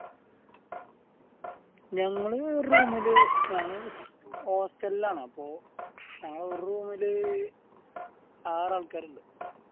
ഞങ്ങളെ room ല് ഞങ്ങള് hostel ൽ ആണ് അപ്പോൾ ഞങ്ങളെ ഒരു room ലെ ആറ് ആൾക്കാരുണ്ട്